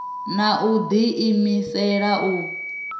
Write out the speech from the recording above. na u ḓi imisela u